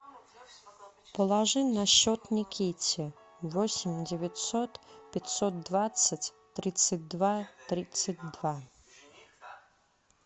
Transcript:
положи на счет никите восемь девятьсот пятьсот двадцать тридцать два тридцать два